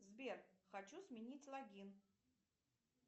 сбер хочу сменить логин